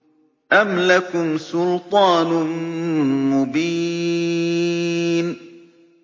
أَمْ لَكُمْ سُلْطَانٌ مُّبِينٌ